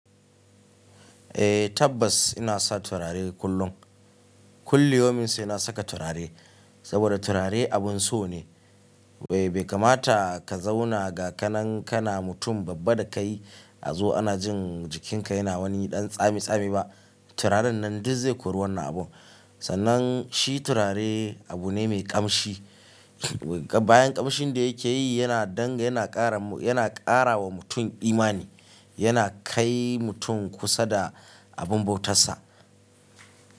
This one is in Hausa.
Eh tabbas ina sa turare kullum. Kulli yaumin sai na saka turare saboda turare abun so ne. Bai kamata ka zauna ga ka nan kana mutum babba da kai azo ana jin jikinka yana wani ɗan tsami tsami ba. Turaren nan duk zai kori wannan abu. Sannan shi turare abu ne mai ƙamshi. Bayan ƙamshin da yake yi yana dang yana ƙara wa mutum imani, yana kai mutum kusa da abin bautarsa.